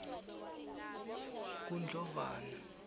kundlovana